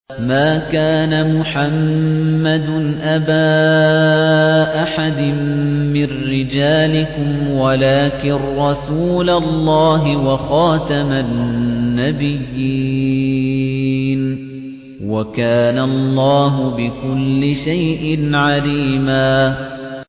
مَّا كَانَ مُحَمَّدٌ أَبَا أَحَدٍ مِّن رِّجَالِكُمْ وَلَٰكِن رَّسُولَ اللَّهِ وَخَاتَمَ النَّبِيِّينَ ۗ وَكَانَ اللَّهُ بِكُلِّ شَيْءٍ عَلِيمًا